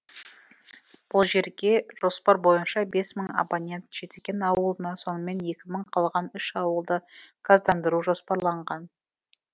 бұл жерге жоспар бойынша бес мың абонент жетіген ауылына сонымен екі мың қалған үш ауылды газдандыру жоспарланған